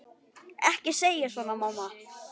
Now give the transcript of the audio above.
Ekki segja svona, mamma.